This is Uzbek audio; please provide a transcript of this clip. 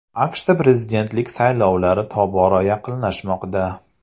AQShda prezidentlik saylovlari tobora yaqinlashmoqda.